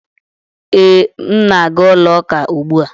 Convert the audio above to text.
Ee, m na-aga ụlọ ụka ugbu a.